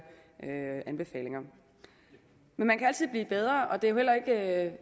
anbefalinger men man kan altid blive bedre og det er jo heller ikke